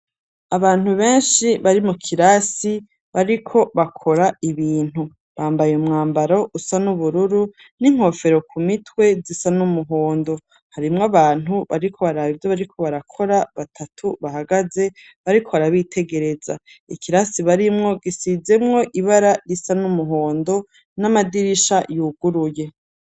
Abantu benshi bari mu kirasi bariko bakora ibintu bambaye umwambaro usa n'ubururu n'inkofero ku mitwe zisa n'umuhondo, harimwo abantu bariko baraba ivyo bariko barakora, batatu bahagaze bariko barabitegereza, ikirasi barimwo gisizemwo ibara risa n'umuhondo n'amadirisha y'uguruye.